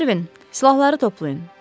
Mervin, silahları toplayın.